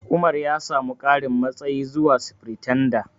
Umar ya samu ƙarin matsayi zuwa Sifiritanda.